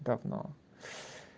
говно